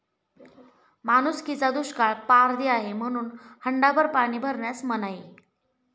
माणुसकीचा दुष्काळ, पारधी आहे म्हणून हंडाभर पाणी भरण्यास मनाई